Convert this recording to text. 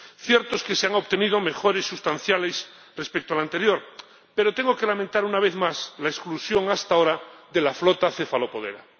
Cierto es que se han obtenido mejoras sustanciales respecto al anterior, pero tengo que lamentar, una vez más, la exclusión hasta ahora de la flota cefalopodera.